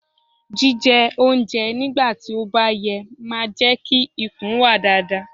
Jí jẹ oúnjẹ nígbà tí ó bá yẹ máa jẹ́ kí ikùn wà dáadáa.